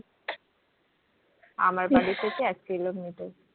আমার বাড়ি থেকে এক কিলোমিটার